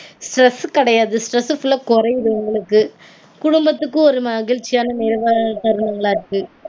Stress கெடையாது. Stress full -ஆ கொறையுது உங்களுக்கு. குடும்பத்துக்கும் ஒரு மகிழ்ச்சியான நிறைவான தருணங்களா இருக்கு